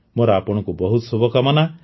ମୋର ଆପଣଙ୍କୁ ବହୁତ ଶୁଭକାମନା